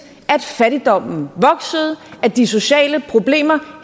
fattigdommen voksede og at de sociale problemer